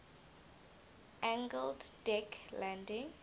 angled deck landing